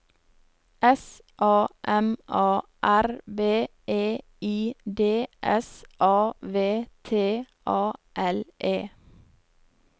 S A M A R B E I D S A V T A L E